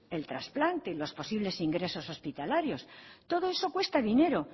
el trasplante los posibles ingresos hospitalarios todo esto cuesta dinero